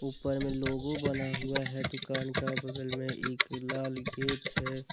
ऊपर मे लोगो बना हुआ है दुकान का बगल मे एक लाल गेट है।